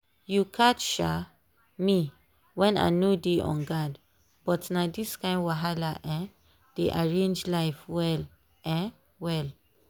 you catch um me when i no dey on guardbut na these kind wahala um dey arrange life well um well.